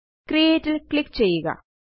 create ല് click ചെയ്യുക